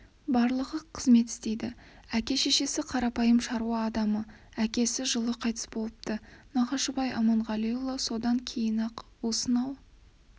барлығы қызмет істейді әке-шешесі қарапайым шаруа адамы әкесі жылы қайтыс болыпты нағашыбай аманғалиұлы содан кейін-ақ осынау